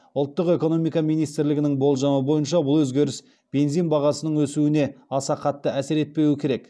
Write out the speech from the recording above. ұлттық экономика министрлігінің болжамы бойынша бұл өзгеріс бензин бағасының өсуіне аса қатты әсер етпеуі керек